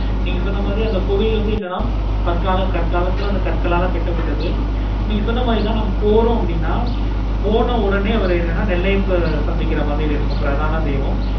நீங்க சொன்ன மாதிரி அந்த கோவில் என்னென்னா பார்க்கலாம் பர்காலத்துல கட்டப்பட்டது. நீங்க சொன்ன மாதிரி தான் நம்ம போறோம் அப்படினா போன உடனே நெல்லை அப்பா சந்திக்க மாதிரி இருக்கு பிரதான தேவம்